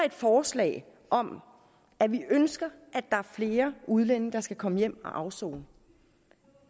et forslag om at vi ønsker at der er flere udlændinge der skal komme hjem at afsone